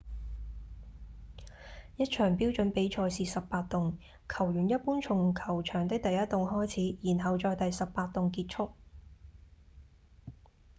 一場標準比賽是18洞球員一般從球場的第一洞開始然後在第18洞結束